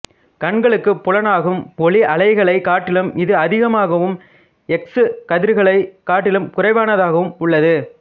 கண்களுக்குப் புலனாகும் ஓளி அலைகளைக் காட்டிலும் இது அதிகமாகவும் எக்சு கதிர்களைக் காட்டிலும் குறைவானதாகவும் உள்ளது